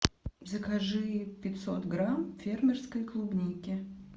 закажи пятьсот грамм фермерской клубники